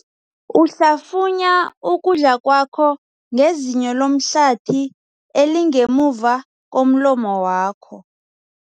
Uhlafunya ukudla kwakho ngezinyo lomhlathi elingemuva komlomo wakho.